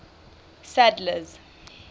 sadler's